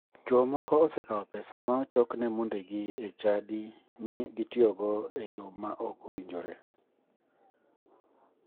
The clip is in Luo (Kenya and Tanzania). Chuo moko osekao pesa ma ochokne mondegi e chadi mi otiyogo e yo ma ok owinjore.